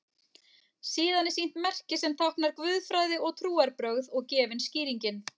Síðan er sýnt merki sem táknar guðfræði og trúarbrögð og gefin skýringin